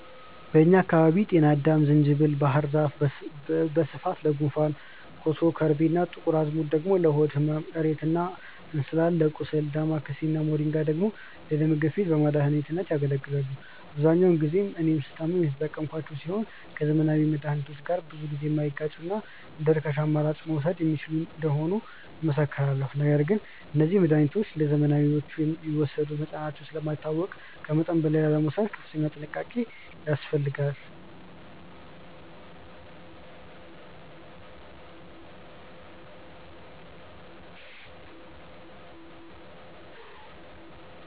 በእኛ አካባቢ ጤናአዳም፣ ዝንጅብል እና ባህር ዛፍ በስፋት ለጉንፋን፣ ኮሶ፣ ከርቤ እና ጥቁር አዝሙድ ደግሞ ለሆድ ህመም፣ እሬት እና እንስላል ለቁስል፣ ዳማከሴ እና ሞሪንጋ ደግሞ ለደም ግፊት በመድኃኒትነት ያገለግላሉ። አብዛኞቹን እኔ ስታመም የተጠቀምኳቸው ሲሆን ከዘመናዊ መድሃኒቶች ጋር ብዙ ጊዜ የማይጋጩና እንደርካሽ አማራጭ መወሰድ የሚችሉ እንደሆኑ እመሰክራለሁ። ነገር ግን እነዚህ መድሃኒቶች እንደዘመናዊዎቹ የሚወሰዱበት መጠናቸው ስለማይታወቅ ከመጠን በላይ ላለመውሰድ ከፍተኛ ጥንቃቄ ያስፈልጋል።